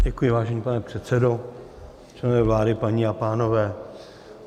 Děkuji, vážený pane předsedo, členové vlády, paní a pánové.